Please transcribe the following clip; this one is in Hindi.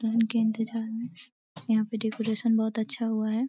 दुल्हन के इंतजार में यहाँ पे डेकोरेशन बहोत अच्छा हुआ है।